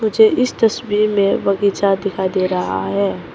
मुझे इस तस्वीर में बगीचा दिखाई दे रहा है।